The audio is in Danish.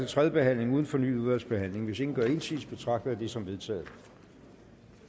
tredje behandling uden fornyet udvalgsbehandling hvis ingen gør indsigelse betragter jeg det som vedtaget